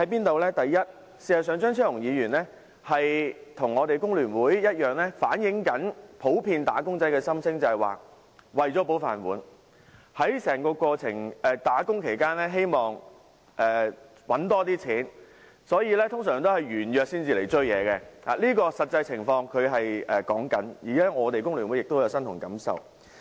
第一，張超雄議員與工聯會一樣，也在反映普遍"打工仔"的心聲，就是為了"保飯碗"，希望在工作期間賺取更多金錢，所以通常會在約滿後才追究，他說的是實際情況，而工聯會亦感同身受。